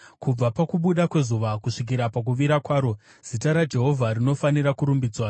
Kubva pakubuda kwezuva kusvikira pakuvira kwaro, zita raJehovha rinofanira kurumbidzwa.